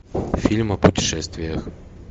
фильм о путешествиях